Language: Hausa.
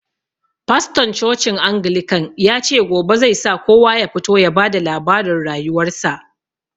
Fastorn cocin angilican yace gobe zai sa kowa ya fito ya ba da labarin rayuwar sa